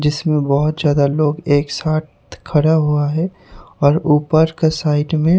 जिसमें बहुत ज्यादा लोग एक साथ खड़ा हुआ है और ऊपर का साइड में--